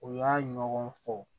U y'a ɲɔgɔn fɔ